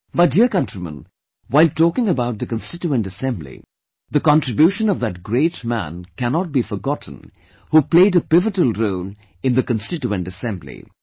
My dear countrymen, while talking about the Constituent Assembly, the contribution of that great man cannot be forgotten who played a pivotal role in the Constituent Assembly